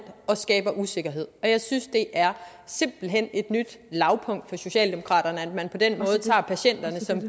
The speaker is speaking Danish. og skaber usikkerhed jeg synes simpelt hen et nyt lavpunkt for socialdemokraterne at man på den måde tager patienterne